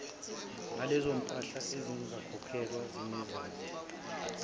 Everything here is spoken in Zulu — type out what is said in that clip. nalezompahla ezingakhokhelwa zinezaze